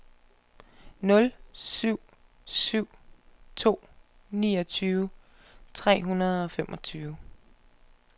nul syv syv to niogtyve tre hundrede og femogtredive